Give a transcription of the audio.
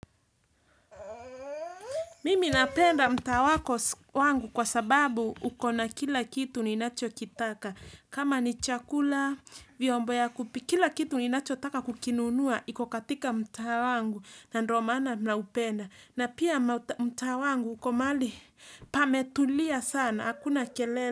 Mimi napenda mtaa wako wangu kwa sababu ukona kila kitu ninachokitaka. Kama ni chakula, vyombo ya kupi, kila kitu ninachotaka kukinunua, iko katika mtaa wangu na ndo maana naupenda. Na pia mtaa wangu uko mahali, pametulia sana, hakuna kelele.